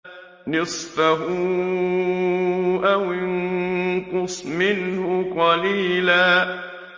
نِّصْفَهُ أَوِ انقُصْ مِنْهُ قَلِيلًا